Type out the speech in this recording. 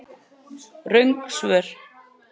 Röng svör